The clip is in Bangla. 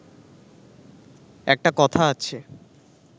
একটা কথা আছে